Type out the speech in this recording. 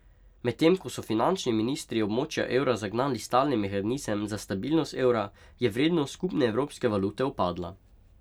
Medtem ko so finančni ministri območja evra zagnali stalni mehanizem za stabilnost evra, je vrednost skupne evropske valute upadla.